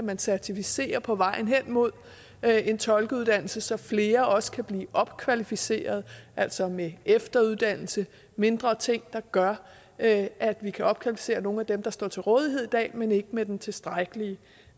kan certificere på vejen hen mod en tolkeuddannelse så flere også kan blive opkvalificeret altså med efteruddannelse mindre ting der gør at at vi kan opkvalificere nogle af dem der står til rådighed i dag men ikke har den tilstrækkelige